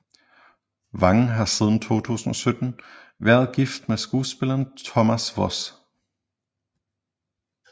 Vang har siden 2017 været gift med skuespilleren Thomas Voss